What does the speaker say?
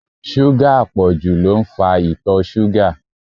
Súgà àpọ̀jù ló ń fa ìtọ̀ ṣúgà.